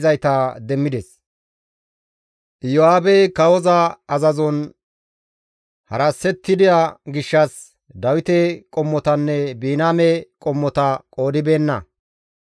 Iyo7aabey kawoza azazon harasettida gishshas Leweta qommotanne Biniyaame qommota qoodibeenna.